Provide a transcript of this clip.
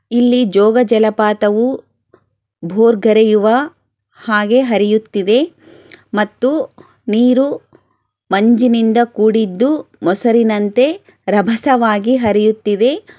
ಇಲ್ಲಿ ಜೋಗ ಜಲಪಾತವು ಬುರ್ಗರೆಯುವ ಹಾಗೆ ಹರಿಯುತ್ತಿದ್ದೆ ಮತ್ತು ನೀರು ಮಂಚಿನಿಂದ್ ಕೂಡಿದು ಮುಸಿರಿನಂತೆ ರಭಸವಾಗಿ ಹರಿಯುತ್ತಿವೆ